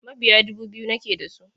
Mabiya dubu biyu nake da su.